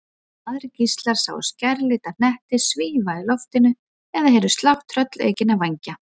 Aðrir gíslar sáu skærlita hnetti svífa í loftinu eða heyrðu slátt tröllaukinna vængja.